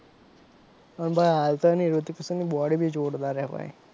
અને ભાઈ હાલ તો એની રિતિક રોશનની બોડી ભી જોરદાર છે ભાઈ,